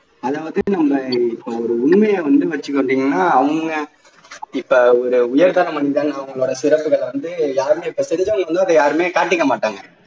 அதாவது நம்ம இப்போ ஒரு உண்மைய வந்து வெச்சுக்குவோம் அப்படின்னா அவங்க இப்ப ஒரு உயர்தர மனிதன் அவங்களோட சிறப்புகளை வந்து யாருமே காட்டிக்க மாட்டாங்க